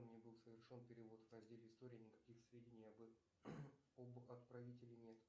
мне был совершен перевод в разделе история никаких сведений об отправителе нет